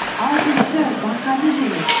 алтыншы бақаны жеңіз